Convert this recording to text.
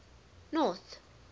north